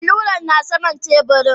Al'luran na saman teburin.